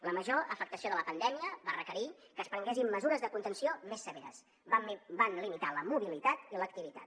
la major afectació de la pandèmia va requerir que es prenguessin mesures de contenció més severes van limitar la mobilitat i l’activitat